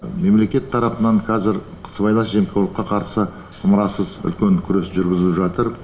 мемлекет тарапынан қазір сыбайлас жемқорлыққа қарсы ымырасыз үлкен күрес жүргізіліп жатыр